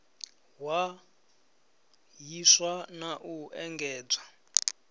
hwa hiswa na u engedzwa